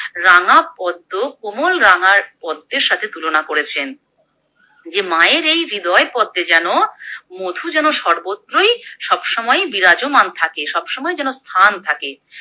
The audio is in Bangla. রাঙা পদ্ম কোমল রাঙা পদ্মের সাথে তুলনা করেছেন। যে মায়ের এই হৃদয় পদ্মে যেন মধু যেন সর্বত্রই সবসময় বিরাজমান থাকে, সবসময় যেন স্থান থাকে।